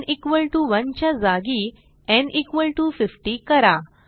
न् 1 च्या जागी न् 50 करा